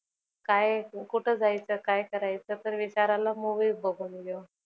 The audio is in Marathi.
काय कुठ जायचं? काय करायचं? तर विचार आला movie बघून घेऊ.